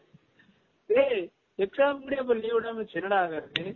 ஏய் exam க்கு முன்னடி அப்ப leave விடாம வச்சு என்ன டா ஆகுரது